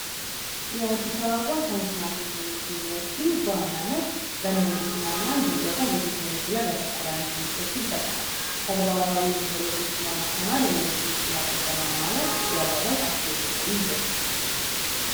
የአዲስ አበባ ሳይንስና ቴክኖሎጂ ዩኒቨርሲቲ በዋናነት በሜንድስን እና እንዲሁም ደግሞ በቴክኖሎጂ ላይ አተኮራን ትምርቶችን ይሰጣ ተግባራዊ ህሎቶችን በማስተማር የኢንደስቱን ፍላቆት ለማማለት ያለመ በጣም ትልቅ የሆነ ዩኒቨርሲቲ ነው፡፡